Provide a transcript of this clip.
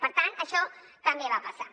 per tant això també va passar